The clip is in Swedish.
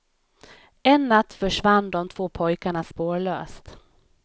En natt försvann de två pojkarna spårlöst.